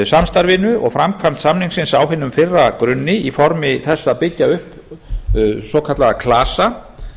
samstarfinu og framkvæmd samningsins á hinum fyrra grunni í formi þess að byggja upp svokallaða klasa